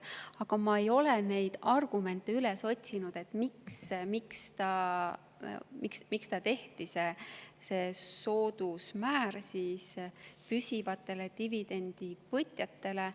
Aga ma ei ole neid argumente üles otsinud, miks tehti see soodusmäär püsivatele dividendivõtjatele.